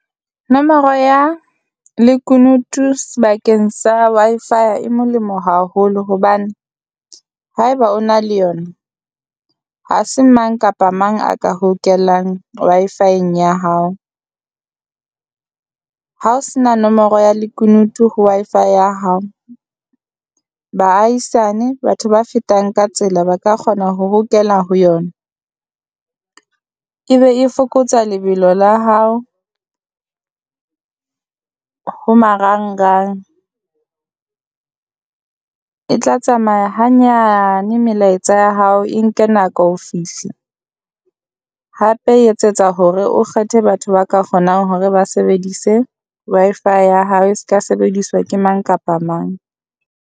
Nomoro ya lekunutu sebakeng sa Wi-Fi-ya e molemo haholo hobane haeba o na le yona, ha se mang kapa mang a ka hokelang Wi-Fi-eng ya hao. Ha o se na nomoro ya lekunutu ho Wi-Fi ya hao, baahisane, batho ba fetang ka tsela ba ka kgona ho hokela ho yona. Ebe e fokotsa lebelo la hao ho marangrang, e tla tsamaya hanyane melaetsa ya hao e nke nako fihla. Hape e etsetsa hore o kgethe batho ba ka kgonang hore ba sebedise Wi-Fi ya hao e se ka sebediswa ke mang kapa mang.